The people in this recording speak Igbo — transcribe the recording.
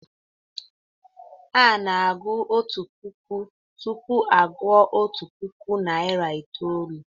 Ana-agụ otu puku tupu a gụọ otu puku na narị itoolu.